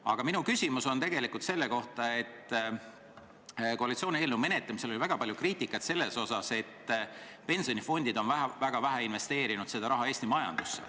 Aga minu küsimus on selle kohta, et koalitsiooni eelnõu menetlemisel oli väga palju kriitikat, et pensionifondid on seda raha vähe investeerinud Eesti majandusse.